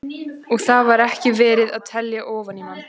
Og þar var ekki verið að telja ofan í mann.